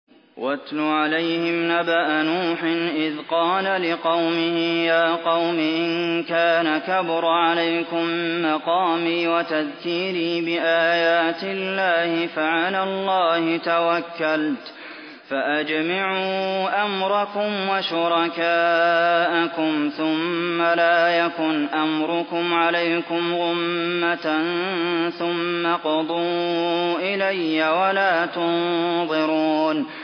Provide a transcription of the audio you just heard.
۞ وَاتْلُ عَلَيْهِمْ نَبَأَ نُوحٍ إِذْ قَالَ لِقَوْمِهِ يَا قَوْمِ إِن كَانَ كَبُرَ عَلَيْكُم مَّقَامِي وَتَذْكِيرِي بِآيَاتِ اللَّهِ فَعَلَى اللَّهِ تَوَكَّلْتُ فَأَجْمِعُوا أَمْرَكُمْ وَشُرَكَاءَكُمْ ثُمَّ لَا يَكُنْ أَمْرُكُمْ عَلَيْكُمْ غُمَّةً ثُمَّ اقْضُوا إِلَيَّ وَلَا تُنظِرُونِ